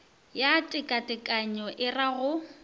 ya tekatekanyo e ra go